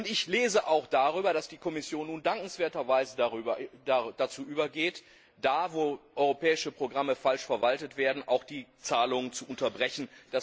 Ich lese auch darüber, dass die Kommission nun dankenswerterweise dazu übergeht, dort, wo europäische Programme falsch verwaltet werden, auch die Zahlungen zu unterbrechen.